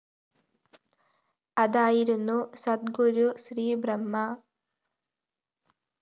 അതായിരുന്നു സദ്ഗുരു ശ്രീ ബ്രഹ്മ